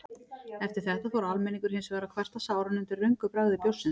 Eftir þetta fór almenningur hins vegar að kvarta sáran undan röngu bragði bjórsins.